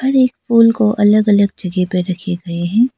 हर एक फूल को अलग अलग जगह पर रखे गए हैं।